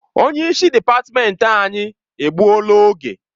Onye isi dịpatmenti anyị egbuola oge.